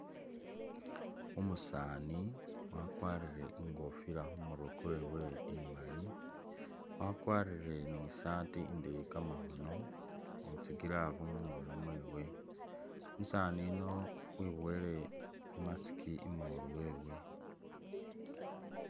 Umusani wakwarire ingofila khumurwe kwewe imali, wakwarire ni isati indeeyi kamakhono ni tsi glove mungono mwewe, umusani yuno wibuwele i mask imolu wewe.